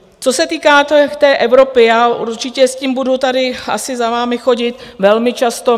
Co se týká té Evropy, já určitě s tím budu tady asi za vámi chodit velmi často.